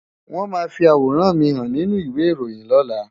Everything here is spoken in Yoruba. Wọ́n máa fi àwòrán mi hàn nínú ìwé ìròyìn lọ́la.